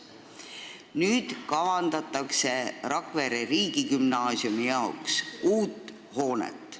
Nüüd kavandatakse Rakvere riigigümnaasiumi jaoks uut hoonet.